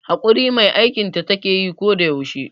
Haƙuri mai aikinta takeyi ko da yaushe